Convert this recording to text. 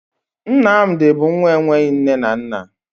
Nnamdi bụ nwa enweghi nne na nna